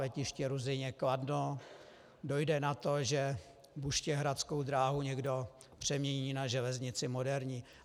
Letiště Ruzyně - Kladno, dojde na to, že buštěhradskou dráhu někdo přemění na železnici moderní.